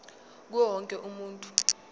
kuwo wonke umuntu